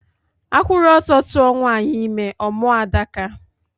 A kwuru ọtọ tuwa nwanyị ime, ọ mụọ Adaka